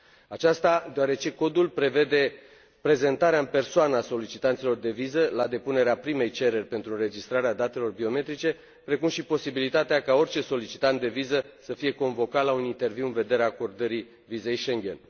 Aceasta deoarece codul prevede prezentarea în persoană a solicitanților de viză la depunerea primei cereri pentru înregistrarea datelor biometrice, precum și posibilitatea ca orice solicitant de viză să fie convocat la un interviu în vederea acordării vizei Schengen.